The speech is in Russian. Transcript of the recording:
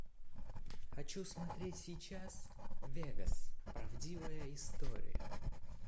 хочу смотреть сейчас вегас правдивая история